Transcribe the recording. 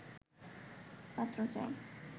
পাত্র চাই